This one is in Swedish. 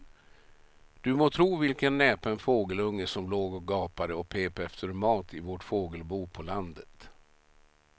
Du må tro vilken näpen fågelunge som låg och gapade och pep efter mat i vårt fågelbo på landet.